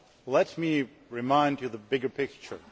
Let me remind you of the bigger picture.